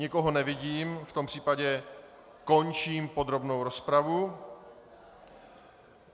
Nikoho nevidím, v tom případě končím podrobnou rozpravu.